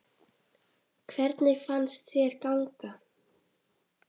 Hvernig fannst þér ganga?